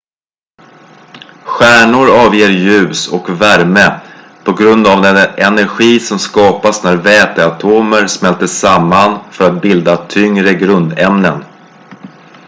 stjärnor avger ljus och värme på grund av den energi som skapas när väteatomer smälter samman för att bilda tyngre grundämnen